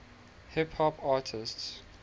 hip hop artists